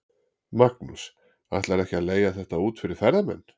Magnús: Ætlarðu ekki að leigja þetta út fyrir ferðamenn?